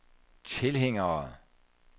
tilhængere